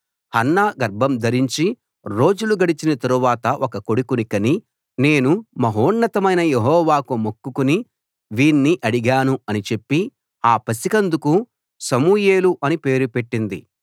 Hannah గర్భం ధరించి రోజులు గడిచిన తరువాత ఒక కొడుకుని కని నేను మహోన్నతమైన యెహోవాకు మొక్కుకుని వీణ్ణి అడిగాను అని చెప్పి ఆ పసికందుకు సమూయేలు అని పేరు పెట్టింది